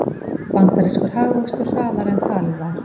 Bandarískur hagvöxtur hraðari en talið var